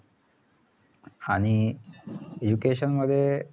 आणि education मध्ये